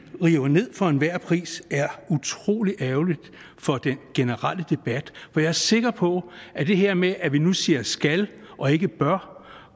river ned for enhver pris er utrolig ærgerligt for den generelle debat for jeg er sikker på at det her med at vi nu siger skal og ikke bør